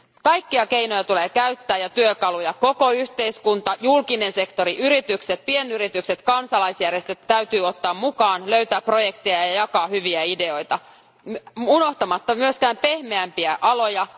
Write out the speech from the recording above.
Kaikkia keinoja ja työkaluja tulee käyttää, ja koko yhteiskunta, julkinen sektori, yritykset, pienyritykset ja kansalaisjärjestöt täytyy ottaa mukaan, löytää projekteja ja jakaa hyviä ideoita, unohtamatta myöskään pehmeämpiä aloja.